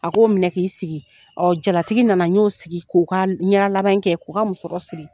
A ko minɛ k'i sigi ɔ jalatigi nana n y'o sigi k'u ka laban kɛ k'u ka musɔrɔ siri